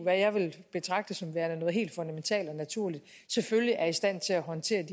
jeg vil betragte som værende noget helt fundamentalt og naturligt selvfølgelig er i stand til at håndtere de